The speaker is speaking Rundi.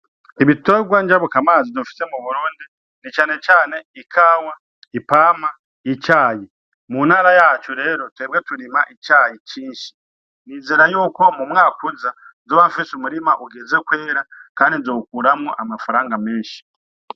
Ibiterwa njabukamazi dufise mu Burundi na cane cane ikawa, ipampa, icayi . Mu ntara yacu rero twebwe turima icayi cinshi , nizera yuko mu mwaka uza nzoba nfise umurima uheze kwera kandi nzowukuramwo amafaranga menshi .